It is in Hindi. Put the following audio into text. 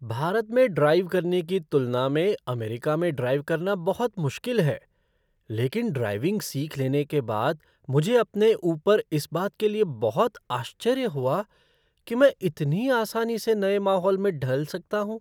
भारत में ड्राइव करने की तुलना में अमेरिका में ड्राइव करना बहुत मुश्किल है, लेकिन ड्राइविंग सीख लेने के बाद मुझे अपने ऊपर इस बात के लिए बहुत आश्चर्य हुआ कि मैं इतनी आसानी से नए माहौल में ढल सकता हूँ!